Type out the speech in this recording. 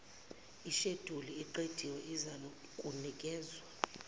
isheduli eqediwe izakunikezwa